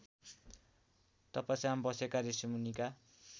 तपस्यामा बसेका ऋषिमुनिका